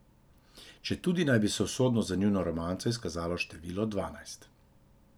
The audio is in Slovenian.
Četudi naj bi se usodno za njuno romanco izkazalo število dvanajst.